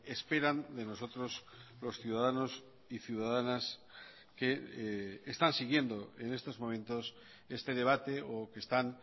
esperan de nosotros los ciudadanos y ciudadanas que están siguiendo en estos momentos este debate o que están